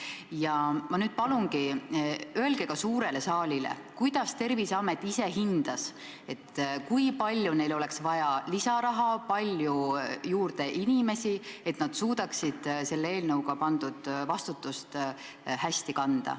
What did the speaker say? Ja ma nüüd palun, et te ütleksite ka suurele saalile, kuidas Terviseamet ise hindas, kui palju neil oleks vaja lisaraha ja kui palju juurde inimesi, et nad suudaksid selle eelnõuga pandavat vastutust hästi kanda.